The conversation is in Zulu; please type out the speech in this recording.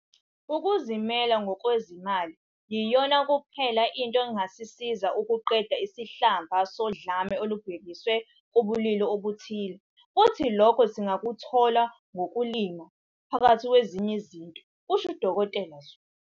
"Ukuzimela ngokwezimali yiyona kuphela into engasisiza ukuqeda isihlava sodlame olubhekiswe kubulili obuthile futhi lokho singakuthola ngokulima, phakathi kwezinye izinto," kusho u-Dkt Zulu.